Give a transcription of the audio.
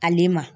Ale ma